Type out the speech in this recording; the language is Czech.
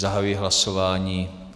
Zahajuji hlasování.